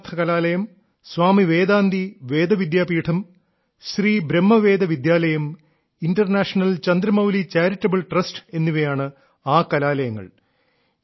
ശാസ്ത്രാർത്ഥ കലാലയം സ്വാമി വേദാന്തി വേദ വിദ്യാപീഠം ശ്രീ ബ്രഹ്മവേദ വിദ്യാലയം ഇന്റർനാഷണൽ ചന്ദ്രമൌലി ചാരിറ്റബിൾ ട്രസ്റ്റ് എന്നിവയാണ് ആ കലാലയങ്ങൾ